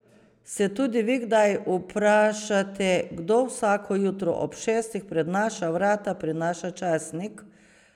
Se tudi vi kdaj vprašate, kdo vsako jutro ob šestih pred naša vrata prinaša časnik?